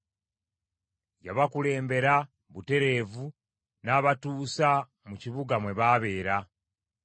Yabakulembera butereevu n’abatuusa mu kibuga mwe baabeera.